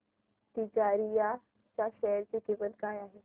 तिजारिया च्या शेअर ची किंमत काय आहे